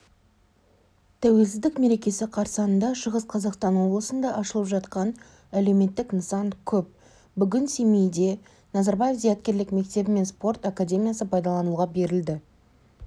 тәуелсіздік мерекесі қарсаңында шығыс қазақстан облысында ашылып жатқан әлеуметтік нысан көп бүгін семейде назарбаев зияткерлік мектебі мен спорт академиясы пайдалануға берілді